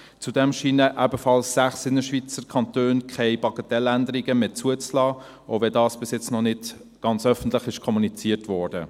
Zudem scheinen auch sechs Innerschweizer Kantone keine Bagatelländerungen mehr zuzulassen, auch wenn dies noch nicht öffentlich kommuniziert wurde.